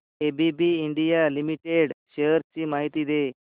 ABB India limited shares ची माहिती दे